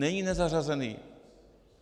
Není nezařazení.